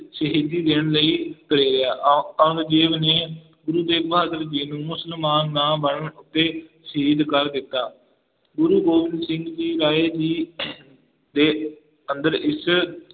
ਸ਼ਹੀਦੀ ਦੇਣ ਲਈ ਪ੍ਰੇਰਿਆ ਔ ਔਰੰਗਜੇਬ ਨੇ ਗੁਰੂ ਤੇਗ ਬਹਾਦਰ ਜੀ ਨੂੰ ਮੁਸਲਮਾਨ ਨਾ ਬਣਨ ਉੱਤੇ ਸ਼ਹੀਦ ਕਰ ਦਿੱਤਾ, ਗੁਰੂ ਗੋਬਿੰਦ ਸਿੰਘ ਜੀ ਰਾਏ ਜੀ ਦੇ ਅੰਦਰ ਇਸ